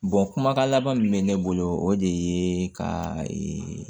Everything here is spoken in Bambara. kumakan laban min bɛ ne bolo o de ye ka ee